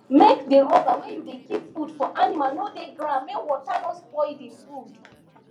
make d rubber wey u da keep food for animal no da ground make water no spoil d food